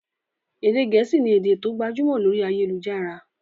Èdè gẹ̀ẹ́sì ni èdè tó gbajúmọ̀ lórí ayélujára.